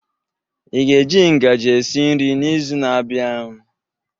Ị ga-eji ngaji esi nri n'izu na-abịa?